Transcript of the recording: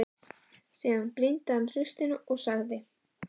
Síðan brýndi hann raustina og sagði